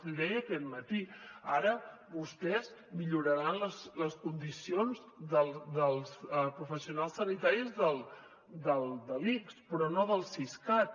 l’hi deia aquest matí ara vostès milloraran les condicions dels professionals sanitaris de l’ics però no del siscat